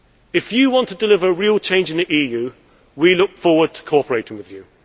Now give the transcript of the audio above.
If you want to deliver real change in the EU, we look forward to cooperating with you.